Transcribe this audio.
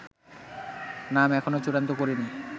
নাম এখনো চূড়ান্ত করিনি